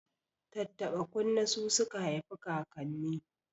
Tattaɓa kunne su suka haifikakanni